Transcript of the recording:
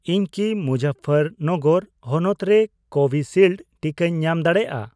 ᱤᱧ ᱠᱤ ᱢᱩᱡᱟᱯᱯᱷᱟᱨ ᱱᱚᱜᱚᱨ ᱦᱚᱱᱚᱛ ᱨᱮ ᱠᱳᱵᱷᱤᱥᱤᱞᱰ ᱴᱤᱠᱟᱹᱧ ᱧᱟᱢ ᱫᱟᱲᱮᱭᱟᱜᱼᱟ ?